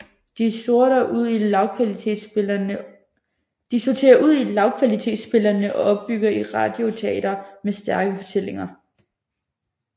De sorterer ud i lavkvalitetsspillene og opbygger et radioteater med stærke fortællinger